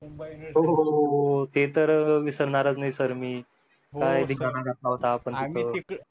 हो हो हो ते तर विसरणारच नाही सर मी काय धिंगाणा घातला होता आपण तिथं